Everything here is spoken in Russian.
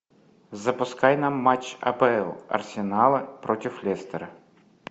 запускай нам матч апл арсенала против лестера